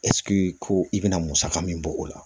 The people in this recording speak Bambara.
ɛsike ko i bɛna musaka min bɔ o la